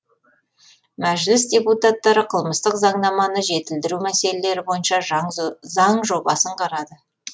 мәжіліс депутаттары қылмыстық заңнаманы жетілдіру мәселелері бойынша заң жобасын қарады